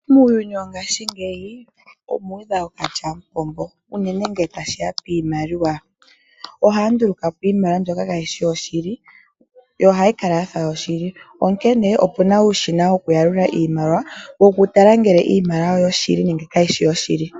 Muuyuni wongashingeyi, omu udha ookalyamupombo, unene ngele tashi ya piimaliwa, ohaya nduluka po iimaliwa mbyoka kaayi shi yoshili, ihe ohayi kala ya fa yoshili. Onkene opu na uushina wokuyalula iimaliwa, wokutala ngele iimaliwa oyo shili, nenge kayi shi yoshili.